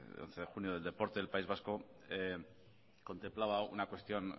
once de junio del deporte del país vasco contemplaba una cuestión